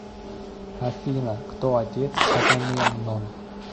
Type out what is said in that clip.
афина кто отец агамемнон